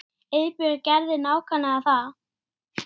Varist að láta sjóða.